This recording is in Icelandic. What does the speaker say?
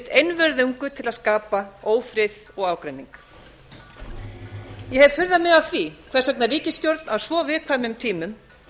einvörðungu til að skapa ófrið og ágreining ég hef furðað mig á því hvers vegna ríkisstjórn á svo viðkvæmum tímum